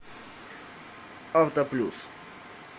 авто плюс